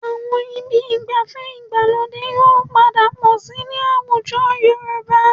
Àwọn ibi ìgbafẹ́ ìgbàlódé yóò padà pọ̀ síi ní àwùjọ Yorùbá